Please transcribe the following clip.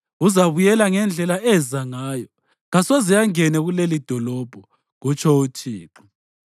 Uzabuyela ngendlela eza ngayo; kasoze angene kulelidolobho, kutsho uThixo.